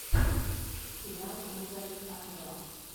сериал ольга александрова